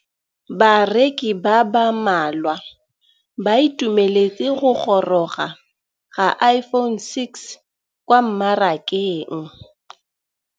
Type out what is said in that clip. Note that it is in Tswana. Bareki ba ba malwa ba ituemeletse go gôrôga ga Iphone6 kwa mmarakeng.